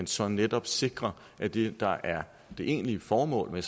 så netop sikrer at det der er det egentlige formål med